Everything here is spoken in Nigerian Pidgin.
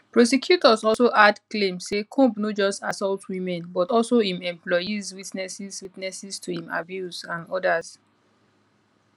prosecutors also add claim say comb no just assault women but also im employees witnesses witnesses to im abuse and odas